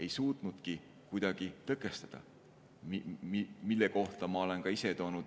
Ma olen ka ise toonud selle kohta näite.